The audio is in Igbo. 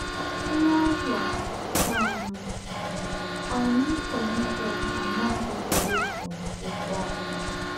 Ányá ứnwà um ànyị́ Ólíwíà ànà́ghị̣ ewẹ̀pụ̀ n’ákwụ́kwọ́ àhụ́.